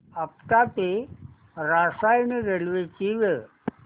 आपटा ते रसायनी रेल्वे ची वेळ